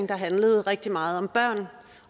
der handlede rigtig meget om børn